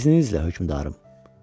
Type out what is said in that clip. İzninizlə hökmdarım.